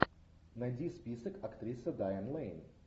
найди список актриса дайан лэйн